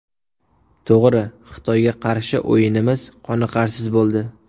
To‘g‘ri, Xitoyga qarshi o‘yinimiz qoniqarsiz bo‘ldi.